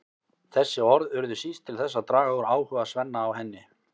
Þessi orð urðu síst til þess að draga úr áhuga Svenna á henni.